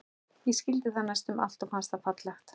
Ég skildi það næstum allt og fannst það fallegt.